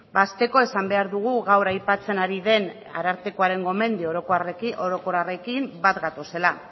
hasteko esan behar dugu gaur aipatzen ari den arartekoaren gomendio orokorrekin bat gatozela